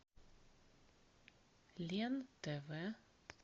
лен тв